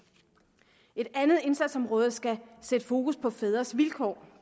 et andet indsatsområde skal sætte fokus på fædres vilkår